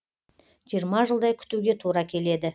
жиырма жылдай күтуге тура келеді